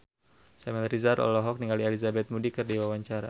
Samuel Rizal olohok ningali Elizabeth Moody keur diwawancara